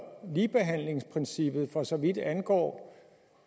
ligebehandlingsprincippet for så vidt angår